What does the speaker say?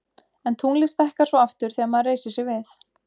En tunglið stækkar svo aftur þegar maður reisir sig við.